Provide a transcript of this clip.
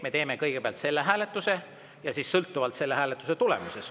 Me teeme kõigepealt selle hääletuse ja sõltub selle hääletuse tulemusest.